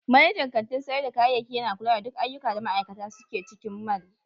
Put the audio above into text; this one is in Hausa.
Manajan kantin sayar da kayayyaki yana kula da duk ayyuka da ma'aikata suke cikin mall.